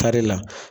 Tari la